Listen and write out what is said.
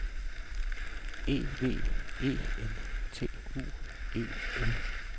E V E N T U E L